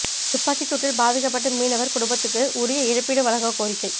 துப்பாக்கி சூட்டில் பாதிக்கப்பட்ட மீனவா் குடும்பத்துக்கு உரிய இழப்பீடு வழங்க கோரிக்கை